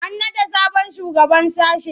An naɗa sabon shugaban sashe.